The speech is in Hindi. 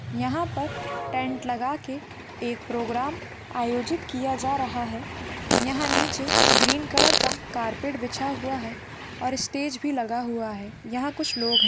यहाँ पर टेंट लगाके एक प्रोग्राम आयोजित किया जा रहा है यहाँ पर ग्रीन कलर का कारपेट बिछा हुआ हैऔर स्टेज भी लगा हुआ हैंयहाँ कुछ भी दिखाई दे रहे हैं।